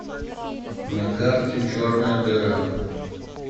на карте черная дыра